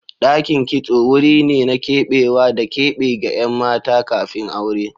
Dakin kitso wuri ne na keɓewa da keɓe ga ƴan mata kafin aure.